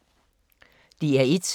DR1